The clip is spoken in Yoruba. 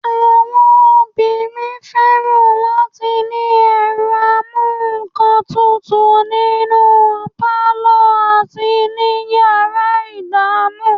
Àwọn obìnrin fẹ́ràn láti ní ẹ̀rọ amúǹkantutù nínú pálọ̀ àti yàrá ìdáná